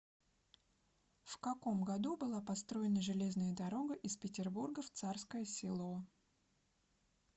в каком году была построена железная дорога из петербурга в царское село